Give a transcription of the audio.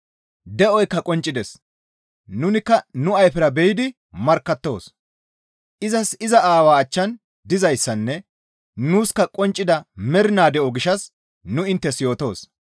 De7oykka qonccides; nunikka nu ayfera be7idi markkattoos. Izas iza Aawaa achchan dizayssanne nuuska qonccida mernaa de7o gishshas nu inttes yootoos.